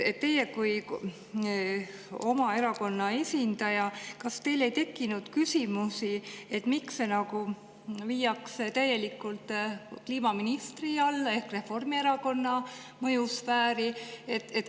Teie kui oma erakonna esindaja, kas teil ei tekkinud küsimus, miks see viiakse täielikult kliimaministri alla ehk Reformierakonna mõjusfääri?